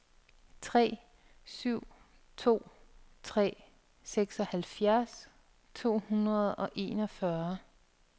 tre syv to tre seksoghalvfjerds to hundrede og enogfyrre